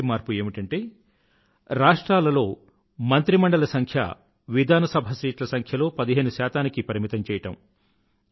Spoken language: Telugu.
మొదటి మార్పు ఏమిటంటే రాష్ట్రాలలో మంత్రిమండలి సంఖ్య విధానసభ సీట్ల సంఖ్యలో పదిహేను శాతానికి పరిమితము